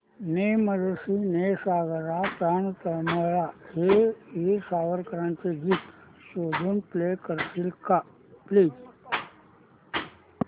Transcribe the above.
ने मजसी ने सागरा प्राण तळमळला हे वीर सावरकरांचे गीत शोधून प्ले करशील का प्लीज